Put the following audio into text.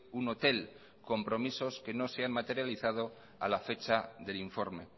un hotel compromisos que no se han materializado a la fecha del informe